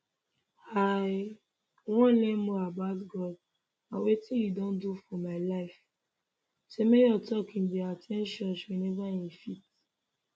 i wan learn more about god and wetin im don do for my life semenyo tok im dey at ten d church whenever im fit